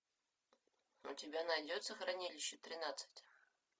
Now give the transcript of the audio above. у тебя найдется хранилище тринадцать